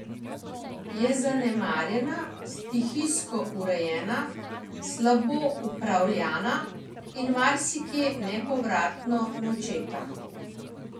Je zanemarjena, stihijsko urejena, slabo upravljana in marsikje nepovratno načeta.